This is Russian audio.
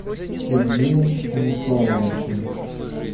сергеем станиславовичем